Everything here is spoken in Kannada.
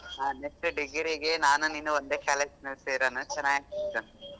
ಹಾ next degree ಗೆ ನಾನು ನೀನು ಒಂದೇ college ಸೇರೋಣ ಚೆನಾಗಿರುತ್ತೆ.